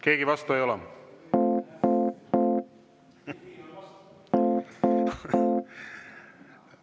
Keegi vastu ei ole?